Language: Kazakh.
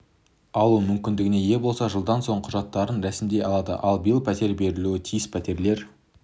алу мүмкіндігіне ие болса жылдан соң құжаттарын рәсімдей алады ал биыл пәтер берілуі тиіс пәтерлер